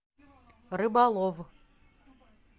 рыболов